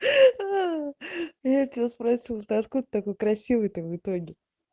я тебя спросил ты откуда такой красивый там в итоге